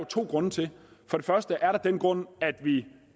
to grunde til for det første er der den grund at vi